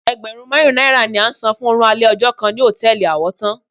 Ẹgbẹ̀rún márùn-ún náírà ni a sàn fún oorun alẹ́ ọjọ́ kan ní hòtẹ́ẹ̀lì Àwọ́tán.